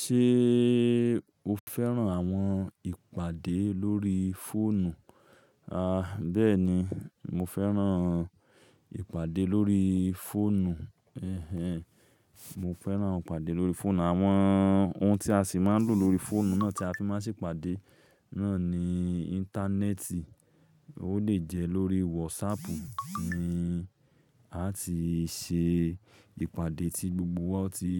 Ṣé o fẹ́ràn àwọn ìpàdé lórí fóònù? A, bẹ́ẹ̀ni, mo fẹ́ràn ìpàdé lórí fóònù. Ẹ̀hẹ̀n, mo fẹ́ràn ìpàdé lórí fóònù. Àwọn ohun tí a sì máa ń lò lórí fóònù náà tí a fi máa sì pàdé náà ni íńtánẹ́ẹ̀tì. Ó lè jẹ́ lórí wọsáàpù ní à ti ṣe ìpàdé tí gbogbo wa ti